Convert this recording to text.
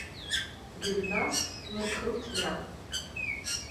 гюльназ мкрутмян